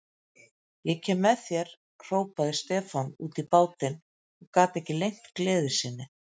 Ég kem með þér, hrópaði Stefán út í bátinn og gat ekki leynt gleði sinni.